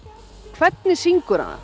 hvernig syngur hann